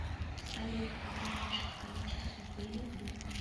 салют как уменьшить количество пыли дома